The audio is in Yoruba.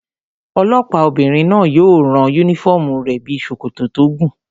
Olọ́pàá obìnrin náà yóò rán yúnífọ́ọ̀mù rẹ̀ bíi sòkòtò tó gùn